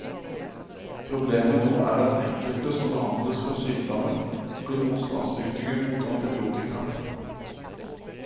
Problemet nå er at enkelte som behandles for sykdommen blir motstandsdyktige mot antibiotika.